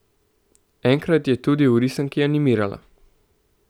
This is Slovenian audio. Enkrat je tudi v risanki animirala.